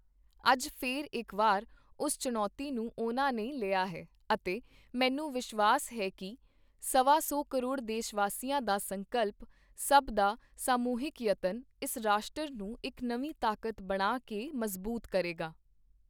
ਅੱਜ ਫਿਰ ਇੱਕ ਵਾਰ, ਉਸ ਚੁਣੌਤੀ ਨੂੰ ਉਨ੍ਹਾਂ ਨੇ ਲਿਆ ਹੈ ਅਤੇ ਮੈਨੂੰ ਵਿਸ਼ਵਾਸ ਹੈ ਕਿ ਸਵਾ ਸੌ ਕਰੋੜ ਦੇਸ਼ਵਾਸੀਆਂ ਦਾ ਸੰਕਲਪ, ਸਭ ਦਾ ਸਮੂਹਿਕ ਯਤਨ, ਇਸ ਰਾਸ਼ਟਰ ਨੂੰ ਇੱਕ ਨਵੀਂ ਤਾਕਤ ਬਣਾ ਕੇ ਮਜ਼ਬੂਤ ਕਰੇਗਾ।